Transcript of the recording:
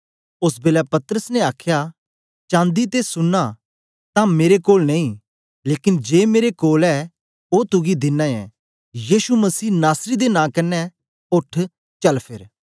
ओस बेलै पतरस ने आखया चांदी ते सुन्ना तां मेरे कोल नेई लेकन जे मेरे कोल ऐ ओ तुगी दिना ऐं यीशु मसीह नासरी दे नां कन्ने ओठ चल फेर